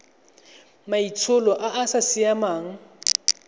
maitsholo a a sa siamang